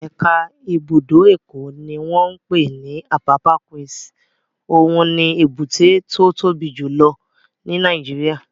Ẹ̀ka ibùdó Èkó ní wọ́n pè ní Apapa Quays, òun ni èbúté tó tóbi jù lọ ní Nàìjíríyà